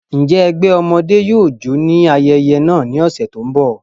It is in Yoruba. Njẹ ẹgbẹ ọmọde yóò jó ni ayẹyẹ naa ni ọsẹ ti n bọ?